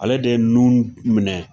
Ale de ye minɛ